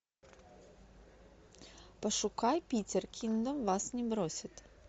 пошукай питер кингдом вас не бросит